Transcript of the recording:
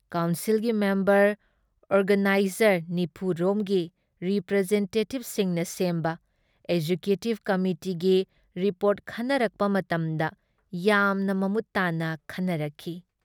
ꯀꯥꯎꯟꯁꯤꯜꯒꯤ member organiser ꯴꯰ ꯔꯣꯝꯒꯤ ꯔꯤꯄ꯭ꯔꯦꯖꯦꯟꯇꯦꯇꯤꯕꯁꯤꯡꯅ ꯁꯦꯝꯕ ꯑꯦꯖꯦꯀ꯭ꯌꯨꯇꯤꯕ ꯀꯃꯤꯇꯤꯒꯤ ꯔꯤꯄꯣꯔ꯭ꯠ ꯈꯟꯅꯔꯛꯄ ꯃꯇꯝꯗ ꯌꯥꯝꯅ ꯃꯃꯨꯠ ꯇꯥꯥꯟꯅ ꯈꯟꯅꯔꯛꯈꯤ꯫